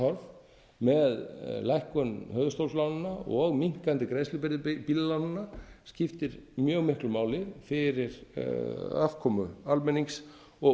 horf með lækkun höfuðstólslánanna og minnkandi greiðslubyrði bílalánanna skiptir mjög miklu máli fyrir afkomu almennings og